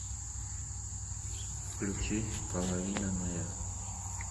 включи половина моя